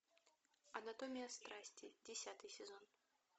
анатомия страсти десятый сезон